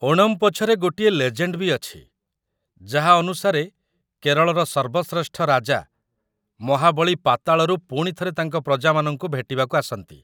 ଓଣମ୍ ପଛରେ ଗୋଟିଏ ଲେଜେଣ୍ଡ ବି ଅଛି, ଯାହା ଅନୁସାରେ, କେରଳର ସର୍ବଶ୍ରେଷ୍ଠ ରାଜା, ମହାବଳୀ ପାତାଳରୁ ପୁଣି ଥରେ ତାଙ୍କ ପ୍ରଜାମାନଙ୍କୁ ଭେଟିବାକୁ ଆସନ୍ତି ।